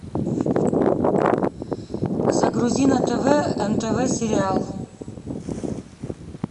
загрузи на тв нтв сериал